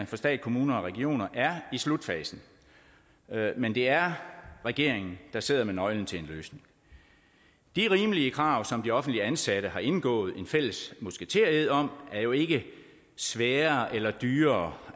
for stat kommuner og regioner er i slutfasen men det er regeringen der sidder med nøglen til en løsning de rimelige krav som de offentligt ansatte har indgået en fælles musketered om er jo ikke svære eller dyre